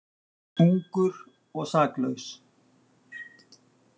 Ungur og saklaus.